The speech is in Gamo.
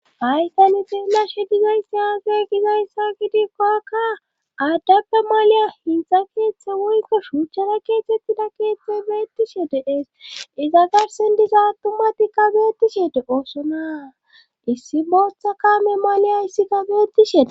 Haytani teellashe dizayssi haagey gizayssa gidikko akka aaddappe maliya hintha keeththe woyko shuuchchara keetettida keeththe beettishe deees iza garsendisa attumati ka beettishede oosonaa issi booththa kame maliya issikka geettishee.